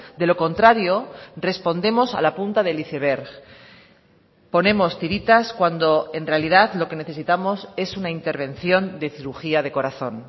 de lo contrario respondemos a la punta del iceberg ponemos tiritas cuando en realidad lo que necesitamos es una intervención de cirugía de corazón